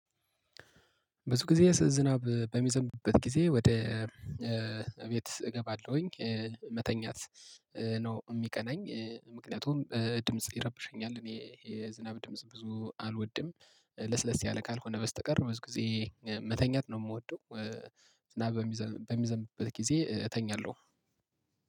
ብዙ ጊዜ ስ ዝናብ በሚዘንብበት ጊዜ ወደ እቤት እገባለሁኝ መተኛት ነው የሚቀናኝ ምክንያቱም ድምጽ ይረብሸኛል። እኔ የዝናብ ድምጽ ብዙ አልወድም። ለስለስ ያለ ካልሆነ በስተቀር ብዙ ጊዜ መተኛት ነው የምወደው። ዝናብ በሚዘንብበት ጊዜ እተኛለሁ